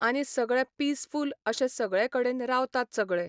आनी सगळे पिसफूल अशें सगळे कडेन रावतात सगळे.